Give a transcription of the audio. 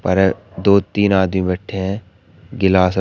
दो तीन आदमी बैठे हैं गिलास--